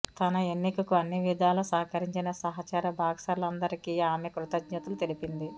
తన ఎన్నికకు అన్నివిధాల సహకరించిన సహచర బాక్సర్లందరికీ ఆమె కృతజ్ఞతలు తెలిపింది